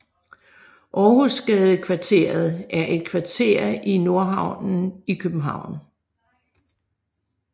Århusgadekvarteret er et kvarter i Nordhavnen i København